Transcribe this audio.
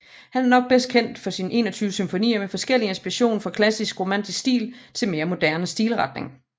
Han er nok bedst kendt for sine 21 symfonier med forskellig inspiration fra klassisk romantisk stil til mere moderne stilretning